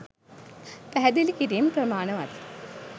පැහැදිළි කිරීම් ප්‍රමාණවත්